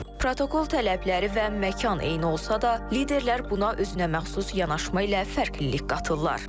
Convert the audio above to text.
Protokol tələbləri və məkan eyni olsa da, liderlər buna özünəməxsus yanaşma ilə fərqlilik qatırlar.